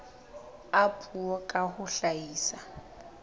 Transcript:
a puo ka ho hlahisa